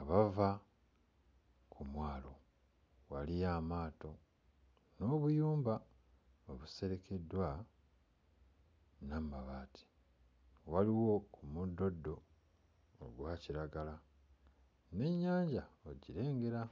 abava ku mwalo. Waliyo amaato n'obuyumba obuserekeddwa n'amabaati. Waliwo ku muddoddo ogwa kiragala n'ennyanja ogirengera.